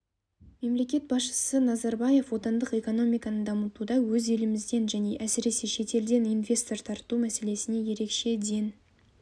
мемлекет басшысы назарбаев отандық экономиканы дамытуда өз елімізден және әсіресе шетелден инвестор тарту мәселесіне ерекше ден